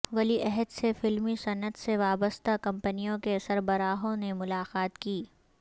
ولی عہد سے فلمی صنعت سے وابستہ کمپنیوں کے سربراہوں نے ملاقات کی